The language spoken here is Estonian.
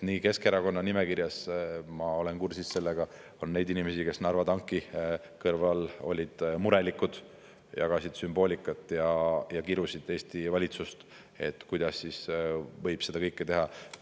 Ja Keskerakonna nimekirjas, ma olen kursis sellega, on neid inimesi, kes Narva tanki kõrval olid murelikud, jagasid sümboolikat ja kirusid Eesti valitsust, et kuidas võib seda kõike teha.